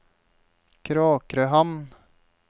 Kråkrøhamn